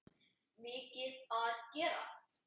Mikið að gera?